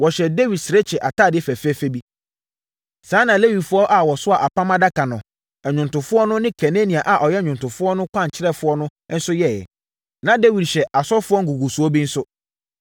Wɔhyɛɛ Dawid serekye atadeɛ fɛfɛ bi. Saa ara na Lewifoɔ a wɔsoaa Apam Adaka no, nnwomtofoɔ no ne Kenania a ɔyɛ nnwomtofoɔ kwankyerɛfoɔ no nso yɛeɛ. Na Dawid hyɛ asɔfoɔ ngugusoɔ bi nso.